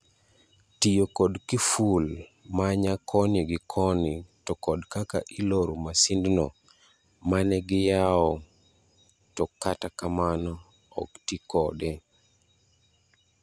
Tiyo kod kiful manya koni gi koni to kod kaka iloro masindno mane giyawo to kata kamano ok tii kode.